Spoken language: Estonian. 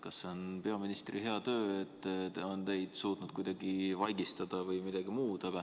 Kas see on siis peaministri hea töö, et ta on suutnud teid kuidagi vaigistada, või midagi muud.